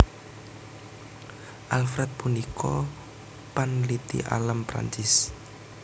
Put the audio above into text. Alfred punika panliti alam Prancis